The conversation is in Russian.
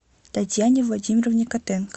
татьяне владимировне котенко